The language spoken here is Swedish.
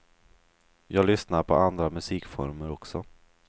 Jag lyssnar på andra musikformer också.